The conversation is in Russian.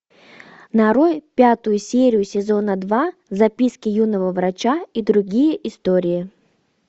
нарой пятую серию сезона два записки юного врача и другие истории